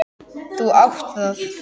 Þú átt það.